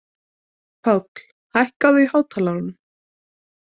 Páll, hækkaðu í hátalaranum.